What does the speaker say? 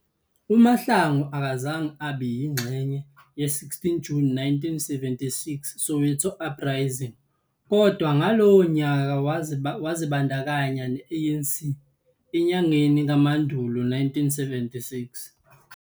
uMahlangu akazange abe yingxenye 16 June 1976 Soweto uprising kodwa ngalowo nyaka wazibandakanya neANC enyangeni kaMandulo 1976.